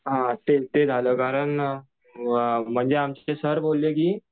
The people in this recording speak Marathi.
हां ते झालेलं कारण आमचे सर बोलले की